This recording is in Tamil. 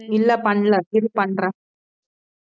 இல்லை பன்னல இரு பன்றேன்